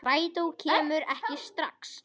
Strætó kemur ekki strax.